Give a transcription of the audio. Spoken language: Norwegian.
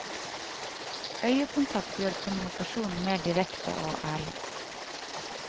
Øyekontakt gjør kommunikasjonen mer direkte og ærlig.